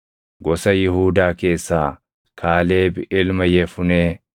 gosa Yihuudaa keessaa Kaaleb ilma Yefunee;